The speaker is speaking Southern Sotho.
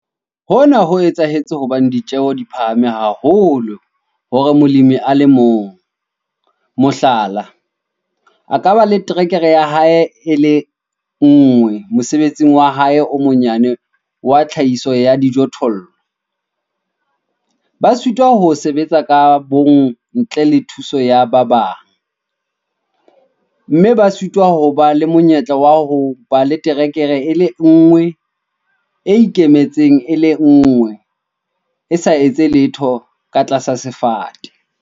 Hona ho etsahetse hobane ditjeo di phahame haholo hore molemi a le mong, mohlala, a ka ba le terekere ya hae e le nngwe mosebetsing wa hae o monyane wa tlhahiso ya dijothollo - ba sitwa ho sebetsa ka bomong ntle le thuso ya ba bang, mme ba sitwa ho ba le monyetla wa ho ba le terekere e le nngwe e ikemetseng e le nngwe, e sa etse letho ka tlasa sefate.